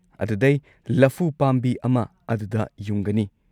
ꯑꯗꯨꯗꯩ, ꯂꯐꯨ ꯄꯥꯝꯕꯤ ꯑꯃ ꯑꯗꯨꯗ ꯌꯨꯡꯒꯅꯤ꯫